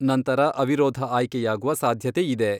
ನಂತರ ಅವಿರೋಧ ಆಯ್ಕೆಯಾಗುವ ಸಾಧ್ಯತೆ ಇದೆ.